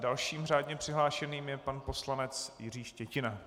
Dalším řádně přihlášeným je pan poslanec Jiří Štětina.